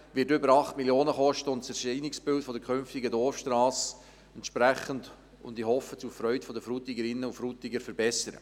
Es wird über 8 Mio. Franken kosten und das Erscheinungsbild der künftigen Dorfstrasse entsprechend – und ich hoffe, zur Freude der Frutigerinnen und Frutiger – verbessern.